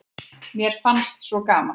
Mér fannst svo gaman.